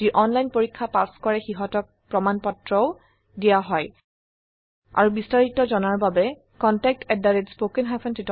যি অনলাইন পৰীক্ষা পাস কৰে সিহতক প্ৰমানপত্ৰ সাৰ্টিফিকেটও দিয়া হয়